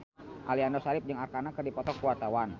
Aliando Syarif jeung Arkarna keur dipoto ku wartawan